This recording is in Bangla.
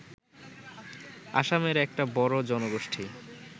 আসামের একটা বড় জনগোষ্ঠী